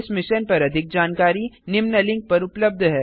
इस मिशन पर अधिक जानकारी निम्न लिंक पर उपलब्ध है